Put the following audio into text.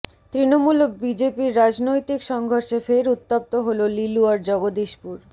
তৃণমূল ও বিজেপির রাজনৈতিক সংঘর্ষে ফের উত্তপ্ত হলো লিলুয়ার জগদীশপুর